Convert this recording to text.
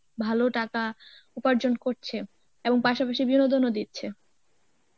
ভালো টাকা উপার্জন করছে এবং পাশাপাশি বিনোদনও দিচ্ছে.